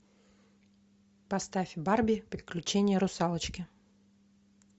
поставь барби приключения русалочки